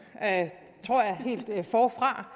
helt forfra